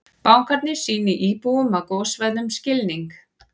Bankarnir sýni íbúum á gossvæðum skilning